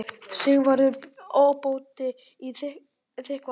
Sigvarður ábóti í Þykkvabæ.